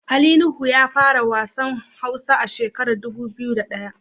Ali Nuhu ya fara wasan hausa a shekarar dubu biyu da daya.